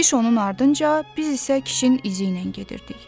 Kişi onun ardınca, biz isə kişinin izi ilə gedirdik.